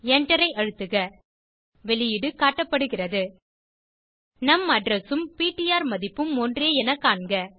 Enter ஐ அழுத்துக வெளியீடு காட்டப்படுகிறது நும் அட்ரெஸ் உம் பிடிஆர் மதிப்பும் ஒன்றே என காண்க